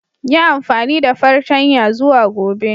Yi amfani da fartanya zuwa Gobe.